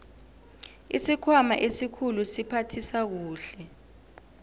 isikhwama esikhulu siphathisa kuhle